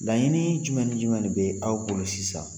Laɲini jumɛn ni jumɛn de bɛ aw bolol sisan?